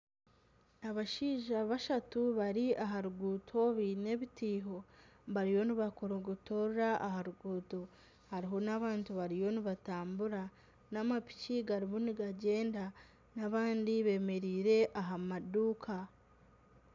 Abashija bashatu bari aha ruguuto baine ebitiiho bariyo nibakorogotorora aha ruguuto hariho n'abantu bariyo nibatambura n'amapiki garimu nigagyenda , abandi bemereire aha maduuka .